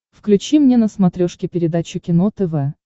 включи мне на смотрешке передачу кино тв